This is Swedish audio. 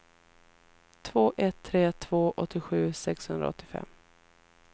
två ett tre två åttiosju sexhundraåttiofem